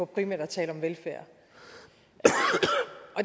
primært at tale om velfærd